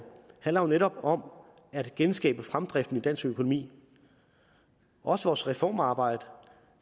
handler jo netop om at genskabe fremdriften i dansk økonomi vores vores reformarbejde